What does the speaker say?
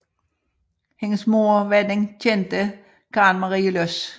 Hendes moder var den kendte Karen Marie Loss